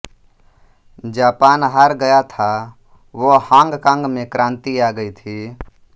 Japan हार गया था व हॉङ्ग कॉङ्ग मे क्रांति आ गयी थी